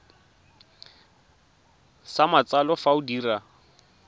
sa matsalo fa o dira